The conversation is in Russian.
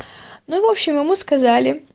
ну в общем ему сказали